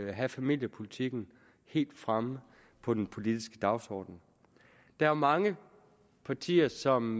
at have familiepolitikken helt fremme på den politiske dagsorden der er mange partier som